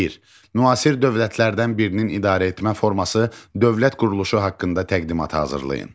Bir: Müasir dövlətlərdən birinin idarəetmə forması, dövlət quruluşu haqqında təqdimat hazırlayın.